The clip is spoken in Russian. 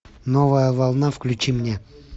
новая волна включи мне